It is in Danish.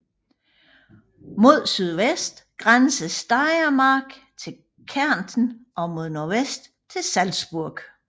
Mod sydvest grænser Steiermark til Kärnten og mod nordvest til Salzburg